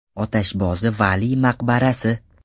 Otashbozi Valiy maqbarasi.